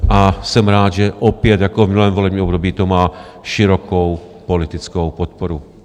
A jsem rád, že opět jako v minulém volebním období to má širokou politickou podporu.